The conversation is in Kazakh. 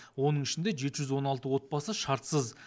оның ішінде жеті жүз он алты отбасы шартсыз